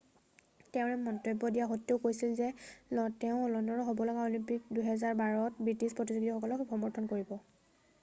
তেওঁ এই মন্তব্য দিয়া সত্ত্বেও কৈছিল যে তেওঁ লণ্ডনত হ'ব লগা অলিম্পিক 2012ত ব্রিটিছ প্রতিযোগীসকলক সমর্থন কৰিব